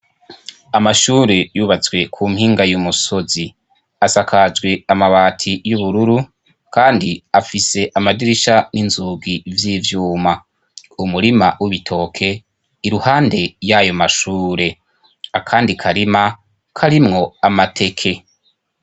Amashure yubatswe ku mpinga y'umusozi asakajwe amabati y'ubururu kandi afise amadirisha n'inzugi vy’ivyuma, umurima w'ibitoke iruhande yayo mashure akandi karima karimwo amateke.